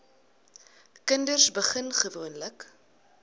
kinders begin gewoonlik